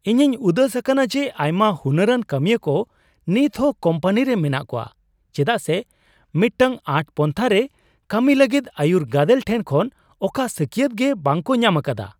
ᱤᱧᱤᱧ ᱩᱫᱟᱹᱥ ᱟᱠᱟᱱᱟ ᱡᱮ ᱟᱭᱢᱟ ᱦᱩᱱᱟᱹᱨᱟᱱ ᱠᱟᱹᱢᱤᱭᱟᱹ ᱠᱚ ᱱᱤᱛᱦᱚᱸ ᱠᱳᱢᱯᱟᱱᱤᱨᱮ ᱢᱮᱱᱟᱜ ᱠᱚᱣᱟ ᱪᱮᱫᱟᱜ ᱥᱮ ᱢᱤᱫᱴᱟᱝ ᱟᱸᱴ ᱯᱟᱱᱛᱷᱟᱨᱮ ᱠᱟᱹᱢᱤᱭ ᱞᱟᱹᱜᱤᱫᱟᱹᱭᱩᱨ ᱜᱟᱰᱮᱞ ᱴᱷᱮᱱ ᱠᱷᱚᱱ ᱚᱠᱟ ᱥᱟᱹᱠᱭᱟᱹᱛ ᱜᱮ ᱵᱟᱝᱠᱚ ᱧᱟᱢ ᱟᱠᱟᱫᱟ ᱾